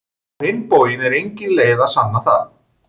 Á hinn bóginn er engin leið að sanna það.